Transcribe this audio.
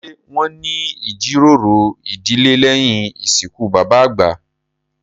Ṣé wón ní ìjíròrò ìdílé lẹ̀yìn ìsìnkú bàbà àgbà?